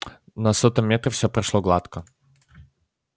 на сотом метре всё прошло гладко